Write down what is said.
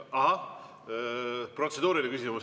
Ahah, protseduuriline küsimus.